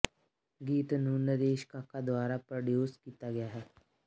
ਗੀਤ ਨੂੰ ਨਰੇਸ਼ ਕਾਕਾ ਦੁਆਰਾ ਪ੍ਰੋਡਿਊਸ ਕੀਤਾ ਗਿਆ ਹੈ